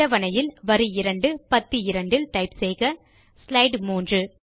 அட்டவணையில் வரி 2 பத்தி 2 இல் டைப் செய்க ஸ்லைடு 3